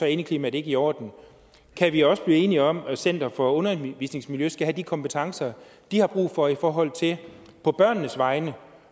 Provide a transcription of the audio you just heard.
indeklimaet ikke i orden kan vi også blive enige om at dansk center for undervisningsmiljø skal have de kompetencer de har brug for i forhold til på børnenes vegne